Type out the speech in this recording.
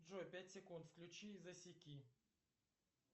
джой пять секунд включи и засеки